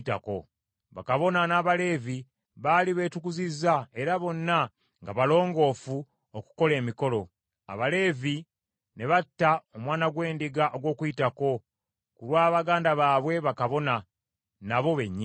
Bakabona n’Abaleevi baali beetukuzizza era bonna nga balongoofu okukola emikolo. Abaleevi ne batta omwana gw’endiga ogw’Okuyitako, ku lwa baganda baabwe bakabona, nabo bennyini.